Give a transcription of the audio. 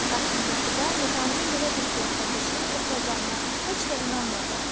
Lakin Qətibə Nizaminin belə bir ziyafətdə şeir oxuyacağına heç də inanmırdı.